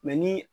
ni